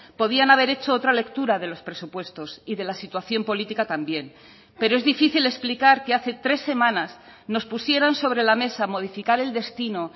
podían haber hecho otra lectura de los presupuestos y de la situación política también pero es difícil explicar que hace tres semanas nos pusieran sobre la mesa modificar el destino